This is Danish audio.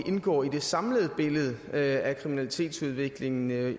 indgår i det samlede billede af kriminalitetsudviklingen